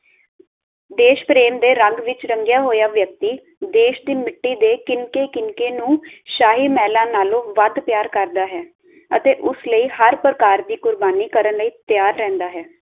ਦੇਸ਼ ਪ੍ਰੇਮ ਦੇ ਰੰਗ ਵਿੱਚ ਰੰਗਿਆ ਹੋਇਆ ਵਿਅਕਤੀ ਦੇਸ਼ ਸੀ ਮਿੱਟੀ ਦੇ ਕਿਨਕੇ ਕਿਨਕੇ ਨੂੰ ਸ਼ਾਹੀ ਮੇਹਲਾਂ ਨਾਲੋਂ ਵੱਧ ਪਿਆਰ ਕਰਦਾ ਹੈ ਅਤੇ ਉਸ ਲਈ ਹਰ ਪ੍ਰਕਾਰ ਦੀ ਕੁਰਬਾਨੀ ਕਰਨ ਲਈ ਤਿਆਰ ਰਹਿੰਦਾ ਹੈ